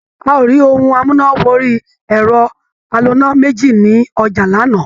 A ò rí ohun amúnà wọrí ẹ̀rọ aloná méjì ní ọjà lánàá.